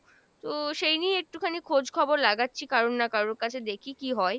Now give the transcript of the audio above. তো সেই নিয়ে একটুখানি খোঁজ খবর লাগাচ্ছি কারুর না কারুর কাছে দেখি কী হয়।